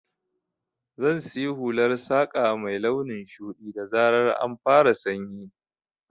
Zan siya hular saƙa mai launin shuɗi, da zarar an fara sanyi.